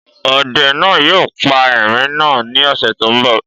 Ọde náà yóò pa erin náà ní ọ̀sẹ̀ tó ḿ bọ̀